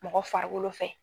Mɔgɔ farigolo fɛ.